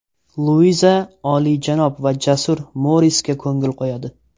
Luiza olijanob va jasur Morisga ko‘ngil qo‘yadi.